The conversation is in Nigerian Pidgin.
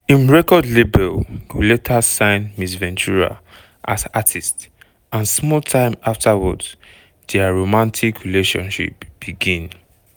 im record label go later sign ms ventura as artist and small time afterwards dia romantic relationship begin.